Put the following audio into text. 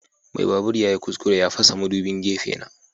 Mai babur yayi kuskure ya fasa madubin gefe na.